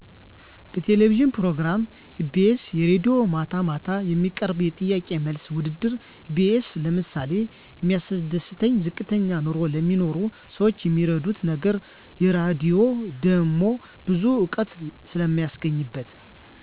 የቴሌቪዥን ፕሮግራም ኢቢኤስ የራድዬ ማታ ማታ የሚቀርብ የጥያቄና መልስ ውድድር ኢቢኤስ ለምሳሌ የሚያስደስተኝ ዝቅተኛ ኑሮ ለሚኖሩ ሰዎች የሚረዱት ነገር የራድሆ ደሞ ብዙ እውቀት ስለማገኝበት